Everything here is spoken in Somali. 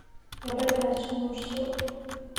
Gabadhaas guurso